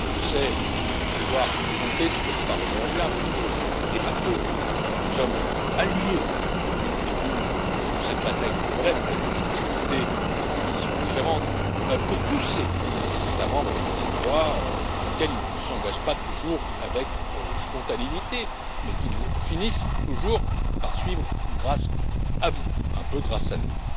Je sais pouvoir compter sur le Parlement européen parce que de facto nous sommes alliés depuis le début de cette bataille de longue haleine avec des sensibilités et des positions différentes pour pousser les États membres dans cette voie dans laquelle ils ne s'engagent pas toujours avec spontanéité, mais qu'ils finissent toujours par suivre grâce à vous et un peu grâce à